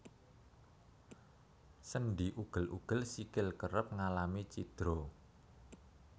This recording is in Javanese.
Sendhi ugel ugel sikil kerep ngalami cidra